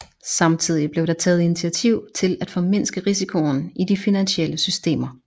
Samtidig blev der taget initiativ til at formindske risikoen i de finansielle systemer